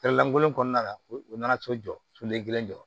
Kɛlɛlankolon kɔnɔna la u nana to jɔ soden kelen jɔ